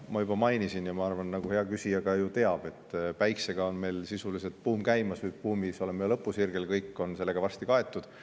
Ma juba mainisin – ja ma arvan, et ka hea küsija ju teab –, et meil on sisuliselt päikesebuum käimas, buum on nüüd lõpusirgel ja kõik on sellega varsti kaetud.